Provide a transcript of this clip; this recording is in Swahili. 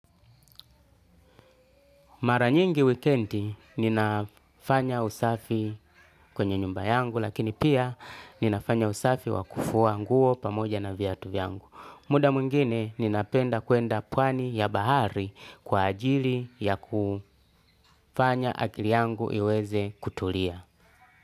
Maranyingi wikendi ninafanya usafi kwenye nyumba yangu lakini pia ninafanya usafi wakufua nguo pamoja na viatu yangu. Muda mwingine ninapenda kwenda pwani ya bahari kwa ajili ya kufanya akili yangu iweze kutulia.